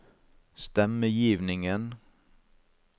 stemmegivningen